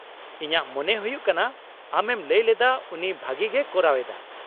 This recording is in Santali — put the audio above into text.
-ᱤᱧᱟᱹᱜ ᱢᱚᱱᱮ ᱦᱳᱭᱳᱜ ᱠᱟᱱᱟ ᱟᱢᱮᱢ ᱞᱟᱹᱭ ᱞᱮᱫᱟ ᱩᱱᱤ ᱵᱷᱟᱹᱜᱤᱜᱮᱭ ᱠᱚᱨᱟᱣ ᱮᱫᱟ ᱾